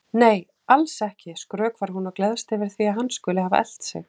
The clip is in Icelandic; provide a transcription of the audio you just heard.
Nei, alls ekki, skrökvar hún og gleðst yfir því að hann skuli hafa elt sig.